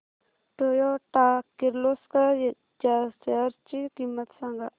Toyota Kirloskar च्या shares ची किंमत सांग